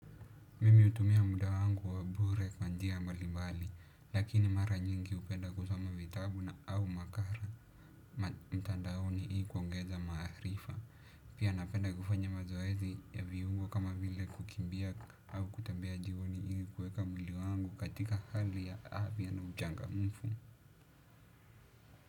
Mimi hutumia muda wangu wa bure kwa njia mbalimbali lakini mara nyingi hupenda kusoma vitabu au makala mtandaoni ili kuongeza maarifa. Pia napenda kufanya mazoezi ya viungo kama vile kukimbia au kutembea jioni ili kuweka mwili wangu katika hali ya afya na uchangamfu.